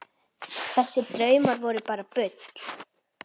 Þessir draumar voru bara bull.